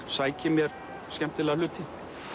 sæki mér skemmtilega hluti